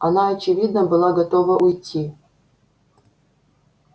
она очевидно была готова уйти